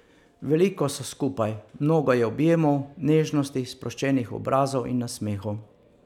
Veliko so skupaj, mnogo je objemov, nežnosti, sproščenih obrazov in nasmehov.